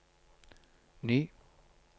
ny